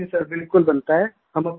हाँ जी बिलकुल बनता है